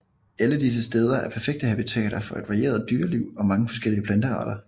Alle disse steder er perfekte habitater for et varieret dyreliv og mange forskellige plantearter